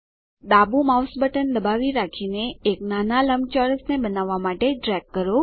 ડાબું mouse button દબાવી રાખીને એક નાના લંબચોરસને બનાવવાં માટે ડ્રેગ કરો